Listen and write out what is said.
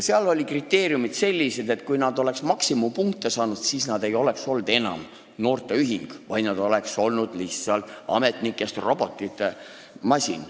Seal olid sellised kriteeriumid, et kui nad oleksid maksimumpunktid saanud, siis nad ei oleks olnud enam noorteühing, vaid nad oleksid olnud lihtsalt robotitest ametnike masin.